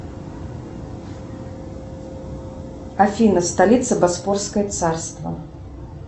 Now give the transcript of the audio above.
афина столица босфорское царство